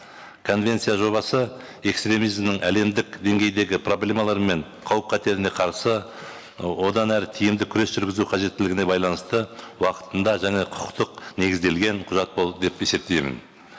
конвенция жобасы экстремизмнің әлемдік деңгейдегі проблемалары мен қауіп қатеріне қарсы ы одан әрі тиімді күрес жүргізу қажеттілігіне байланысты уақытында және құқықтық негізделген құжат болды деп есептеймін